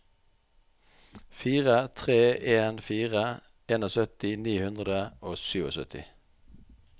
fire tre en fire syttien ni hundre og syttisju